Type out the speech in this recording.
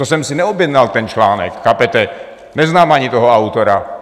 To jsem si neobjednal ten článek, chápete, neznám ani toho autora.